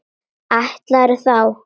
Ætlarðu þá.?